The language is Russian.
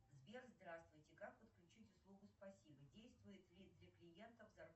сбер здравствуйте как подключить услугу спасибо действует ли для клиентов